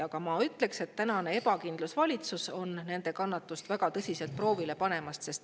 Aga ma ütleksin, et tänane ebakindlusvalitsus on nende kannatust väga tõsiselt proovile panemas.